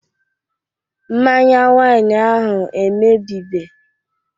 Mmanya wain ahụ emebibe